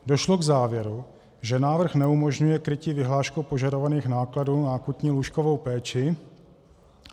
Došlo k závěru, že návrh neumožňuje krytí vyhláškou požadovaných nákladů na akutní lůžkovou péči.